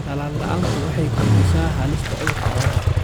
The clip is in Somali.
Tallaal la'aantu waxay kordhisaa halista cudurrada xoolaha.